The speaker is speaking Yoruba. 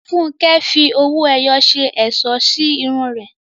Funke fi owó ẹyọ ṣe ẹ̀ṣọ́ sí irun rẹ̀.